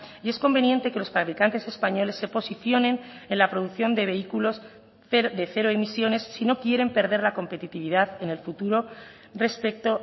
y es conveniente que los fabricantes españoles se posicionen en la producción de vehículos de cero emisiones si no quieren perder la competitividad en el futuro respecto